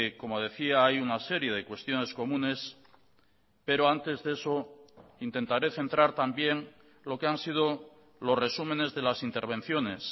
como decía hay una serie de cuestiones comunes pero antes de eso intentaré centrar también lo que han sido los resúmenes de las intervenciones